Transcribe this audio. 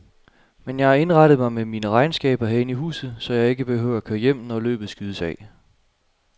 Men jeg har indrettet mig med mine regnskaber herinde i huset, så jeg ikke behøver at køre hjem, når løbet skydes af.